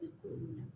I komi